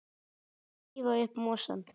Hættið að rífa upp mosann.